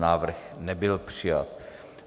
Návrh nebyl přijat.